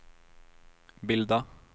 bilda